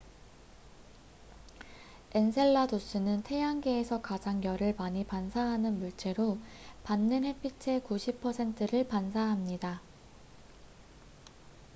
엔셀라두스는 태양계에서 가장 열을 많이 반사하는 물체로 받는 햇빛의 90 퍼센트를 반사합니다